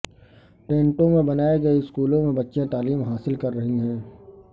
ٹینٹوں میں بنائے گئے سکولوں میں بچیاں تعلیم حاصل کر رہی ہیں